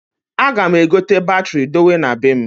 A ga m egote batiri dowe na bem.